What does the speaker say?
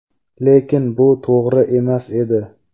Lekin bu to‘g‘ri emas edi.